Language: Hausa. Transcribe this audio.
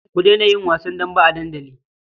Ku daina yin wasan dambe a dandali.